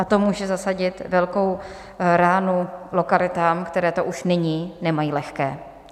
A to může zasadit velkou ránu lokalitám, které to už nyní nemají lehké.